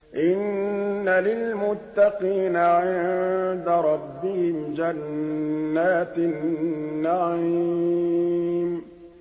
إِنَّ لِلْمُتَّقِينَ عِندَ رَبِّهِمْ جَنَّاتِ النَّعِيمِ